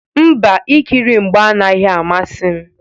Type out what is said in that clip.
Mba, ikiri mgba anaghị amasị m.